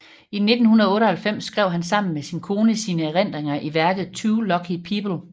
I 1998 skrev han sammen med sin kone sine erindringer i værket Two Lucky People